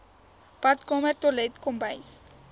badkamer toilet kombuis